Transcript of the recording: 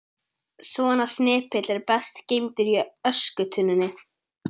Svona snepill er best geymdur í öskutunnunni.